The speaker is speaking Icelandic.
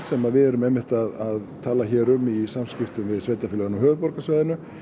sem við erum einmitt að tala hér um í samskiptum við sveitarfélögin á höfuðborgarsvæðinu